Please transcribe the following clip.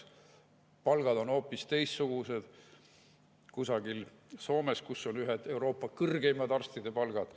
Palgad on hoopis teistsugused kusagil Soomes, kus on ühed Euroopa kõrgeimad arstide palgad.